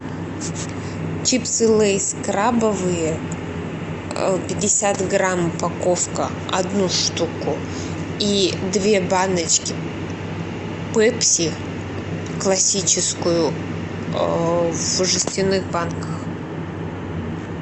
чипсы лейс крабовые пятьдесят грамм упаковка одну штуку и две баночки пепси классическую в жестяных банках